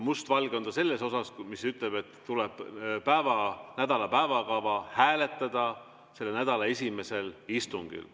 Mustvalge on ta selles osas, mis ütleb, et tuleb nädala päevakava hääletada selle nädala esimesel istungil.